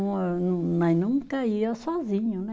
Mas nunca ia sozinho, né?